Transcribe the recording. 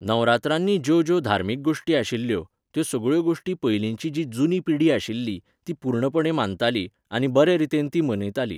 नवरात्रांनी ज्यो ज्यो धार्मीक गोश्टी आशिल्ल्यो, त्यो सगळ्यो गोश्टी पयलिंची जी जुनी पिढी आशिल्ली, ती पुर्णपणे मानताली, आनी बरे रितीन तीं मनयतालीं.